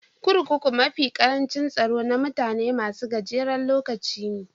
Kurkuku mafi karancin tsaro na mutane masun gajeren lokuta ne.